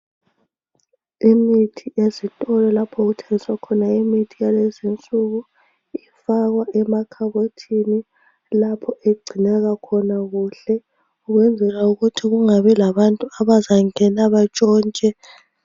Imithi ezitolo lapho okuthengiswa khona imthi yalezi insuku ifakwa emakhabothini lapho egcineka khona kuhle kuyenzelwa ukuthi kungabi labantu abazangena batshontshe.